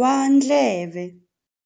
wa ndleve.